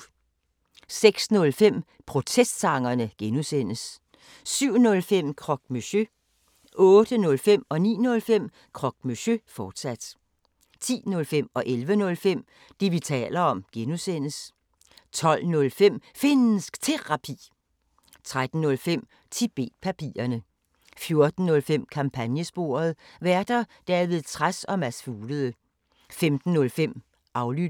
06:05: Protestsangerne (G) 07:05: Croque Monsieur 08:05: Croque Monsieur, fortsat 09:05: Croque Monsieur, fortsat 10:05: Det, vi taler om (G) 11:05: Det, vi taler om (G) 12:05: Finnsk Terapi 13:05: Tibet-papirerne 14:05: Kampagnesporet: Værter: David Trads og Mads Fuglede 15:05: Aflyttet